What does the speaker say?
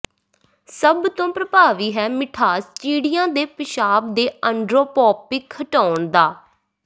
ਸਭ ਤੋਂ ਪ੍ਰਭਾਵੀ ਹੈ ਮਿਠਾਸ ਚਿੜੀਆਂ ਦੇ ਪਿਸ਼ਾਬ ਦੇ ਅੰਡਰੋਪੌਪਿਕ ਹਟਾਉਣ ਦਾ